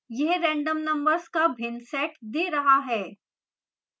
यह random numbers का भिन्न set set रहा है